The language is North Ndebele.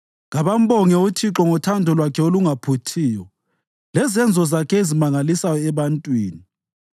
Kabambonge uThixo ngothando lwakhe olungaphuthiyo lezenzo zakhe ezimangalisayo ebantwini.